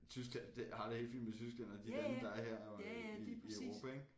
Tyskland det jeg har det helt fint med Tyskland og de lande der er her i Europa ik